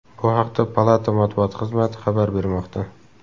Bu haqda palata matbuot xizmati xabar bermoqda .